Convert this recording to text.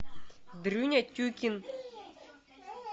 дрюня тюкин